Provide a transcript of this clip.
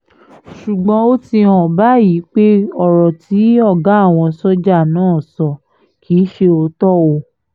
ṣùgbọ́n ó ti hàn báyìí pé ọ̀rọ̀ tí ọ̀gá àwọn sójà náà sọ kì í ṣe òótọ́ o